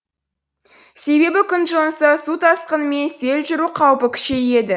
себебі күн жылынса су тасқыны мен сел жүру қаупі күшейеді